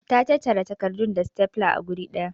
Ta tattara takardun da stapler a guri daya.